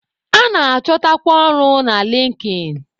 A na-achọtakwa ọrụ na Linkin.